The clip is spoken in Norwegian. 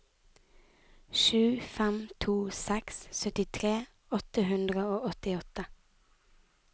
sju fem to seks syttitre åtte hundre og åttiåtte